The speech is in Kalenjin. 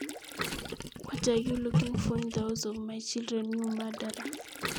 kenyo nyicheng ne eng kotap lakokchu inye panindet